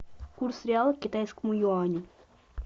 курс реала к китайскому юаню